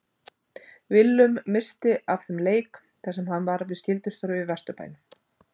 Willum missti af þeim leik þar sem hann var við skyldustörf í Vesturbænum.